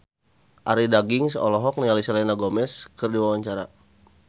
Arie Daginks olohok ningali Selena Gomez keur diwawancara